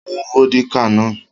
Mú vódíkà náà!